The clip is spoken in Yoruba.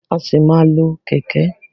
A sì máa má lo kẹ̀kẹ́.